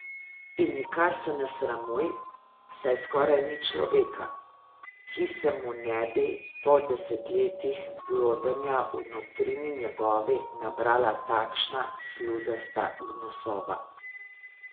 In nikar se ne sramuj, saj skoraj ni človeka, ki se mu ne bi po desetletjih blodenja v notrini njegovi nabrala takšna sluzasta gnusoba.